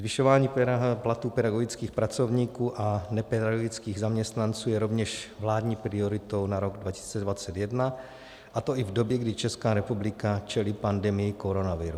Zvyšování platů pedagogických pracovníků a nepedagogických zaměstnanců je rovněž vládní prioritou na rok 2021, a to i v době, kdy Česká republika čelí pandemii koronaviru.